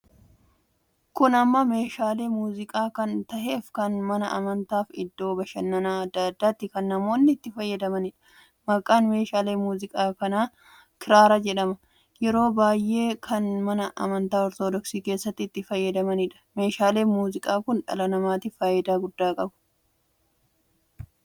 Kun amma meeshaalee muuziqaa kan taheef kan mana amantaaf iddoo bashannaan addaa addaatti kan namoonni itti fayyadamaniidha. maqaan meeshaalee muuziqaa kanaa kiraaraa jedhama. yeroobasy'ee kan mana amantaa ortoodoksii keessatti itti fayyadamaniidha. Meeshaalee muuziqaa kun dhala namaatiif faayidaa maalii qaba?